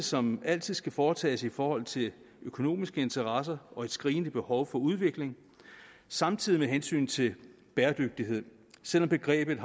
som altid skal foretages i forhold til økonomiske interesser og et skrigende behov for udvikling samtidig med hensynet til bæredygtighed selv om begrebet